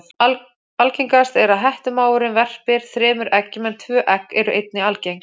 Algengast er að hettumávurinn verpir þremur eggjum en tvö egg eru einnig algeng.